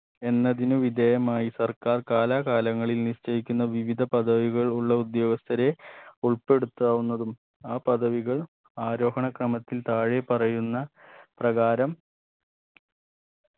എന്നതിന് വിധേയമായി സർക്കാർ കാലാകാലങ്ങളിൽ നിശ്ചയിക്കുന്ന വിവിധ പദവികൾ ഉള്ള ഉദ്യോഗസ്ഥരെ ഉൾപ്പെടുത്താവുന്നതും ആ പദവികൾ ആരോഹണ ക്രമത്തിൽ താതാഴെ പറയുന്ന പ്രകാരം